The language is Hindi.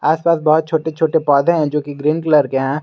आसपास बहुत छोटे छोटे पौधे हैं जोकि ग्रीन कलर के है।